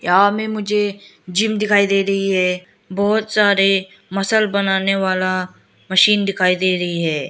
यहां में मुझे जिम दिखाई दे रही है बहोत सारे मसल बनाने वाला मशीन दिखाई दे रही है।